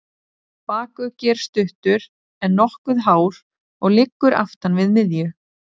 Bakuggi er stuttur, en nokkuð hár og liggur aftan við miðju.